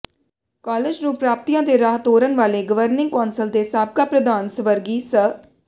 college ਨੂੰ ਪ੍ਰਾਪਤੀਆਂ ਦੇ ਰਾਹ ਤੋਰਨ ਵਾਲੇ ਗਵਰਨਿੰਗ ਕੌਂਸਲ ਦੇ ਸਾਬਕਾ ਪ੍ਰਧਾਨ ਸਵਰਗੀ ਸ